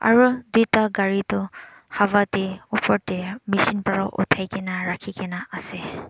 aro duita gari tu hawa de opor de machine para uthai gina rakhi gina ase.